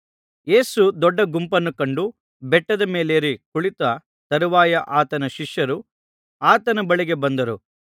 ಯೇಸು ದೊಡ್ಡ ಗುಂಪನ್ನು ಕಂಡು ಬೆಟ್ಟದ ಮೇಲೇರಿ ಕುಳಿತ ತರುವಾಯ ಆತನ ಶಿಷ್ಯರು ಆತನ ಬಳಿಗೆ ಬಂದರು